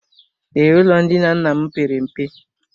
Ee, ụlọ ndina nna m pere mpe.